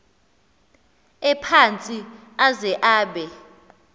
ephantsi aze abe